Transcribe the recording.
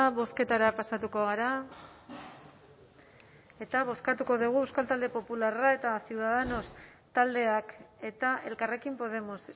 bozketara pasatuko gara eta bozkatuko dugu euskal talde popularra eta ciudadanos taldeak eta elkarrekin podemos